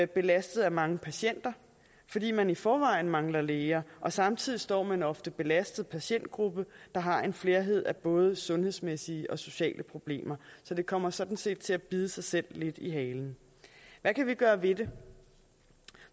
belastet af mange patienter fordi man i forvejen mangler læger og samtidig står man ofte belastet patientgruppe der har en flerhed af både sundhedsmæssige og sociale problemer så det kommer sådan set til at bide sig selv lidt i halen hvad kan vi gøre ved det